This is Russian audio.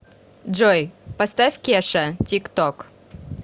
джой поставь кеша тик ток